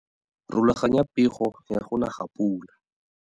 Rulaganya pego ya go na ga pula.